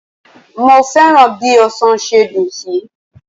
Mo fẹ́ràn bí ọsàn ṣe dùn sí.